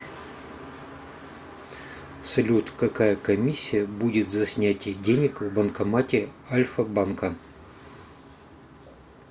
салют какая комиссия будет за снятие денег в банкомате альфа банка